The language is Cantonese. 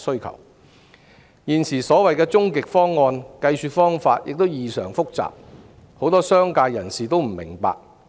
現時所謂"終極方案"的計算方法異常複雜，很多商界人士也不明白。